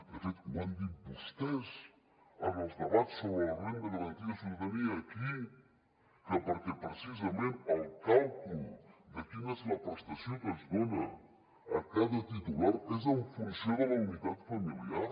de fet ho han dit vostès en els debats sobre la renda garantida de ciutadania aquí que perquè precisament el càlcul de quina és la prestació que es dona a cada titular és en funció de la unitat familiar